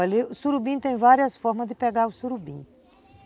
Olha, o surubim tem várias formas de pegar o surubim.